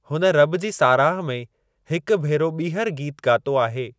हुन रब जी साराह में हिक भेरो ॿीहर गीत ॻातो आहे।